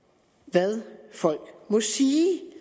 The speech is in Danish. hvad folk må sige